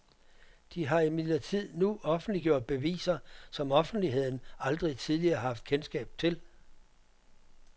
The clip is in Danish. De har imidlertid nu offentliggjort beviser, som offentligheden aldrig tidligere har haft kendskab til.